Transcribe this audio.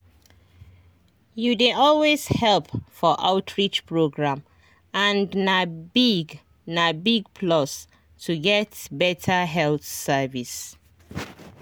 you dey always help for outreach program and na big na big plus to get better health service.